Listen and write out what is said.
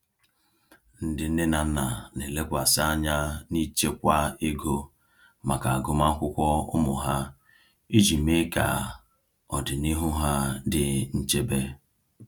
Ndị nne na nna na-elekwasị anya n’ịchekwa ego maka agụmakwụkwọ ụmụ ha iji mee ka ọdịnihu ha dị nchebe.